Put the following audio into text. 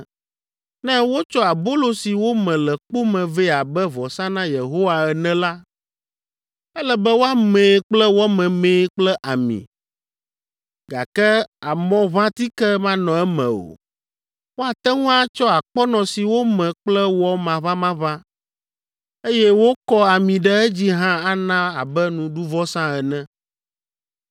“ ‘Ne wotsɔ abolo si wome le kpo me vɛ abe vɔsa na Yehowa ene la, ele be woamee kple wɔ memee kple ami, gake amɔʋãtike manɔ eme o. Woate ŋu atsɔ akpɔnɔ si wome kple wɔ maʋamaʋã, eye wokɔ ami ɖe edzi hã ana abe nuɖuvɔsa ene.